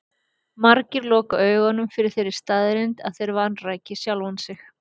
Margir loka augunum fyrir þeirri staðreynd að þeir vanræki sjálfa sig.